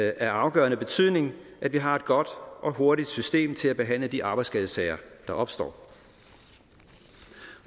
af afgørende betydning at vi har et godt og hurtigt system til at behandle de arbejdsskadesager der opstår